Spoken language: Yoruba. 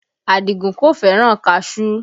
Adigun kò fẹ́ràn kaṣuú